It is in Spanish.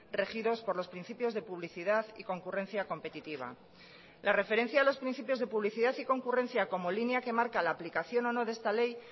regidos por los principios de publicidad y concurrencia competitiva la referencia a los principios de publicidad y concurrencia como línea que marca la aplicación o no de esta ley